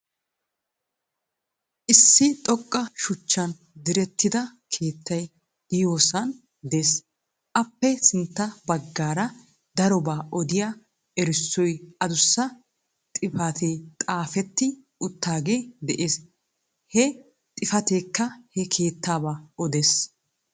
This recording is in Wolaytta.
Issi xoqqa shuchchan direttida keettay de'iyoosan de'ees. Appe sintta baggaara darobaa odiyaa erissoy adussa xifaatee xaafetti uttagee de'ees. he xifateekka he keettaabaa odees.